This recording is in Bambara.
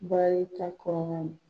Baarita kɔnɔna.